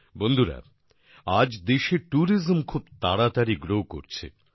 বন্ধুরা আজ দেশে ট্যুরিজম খুব তাড়াতাড়ি গ্রো করছে